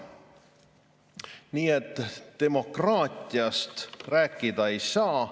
Nii et demokraatiast rääkida ei saa.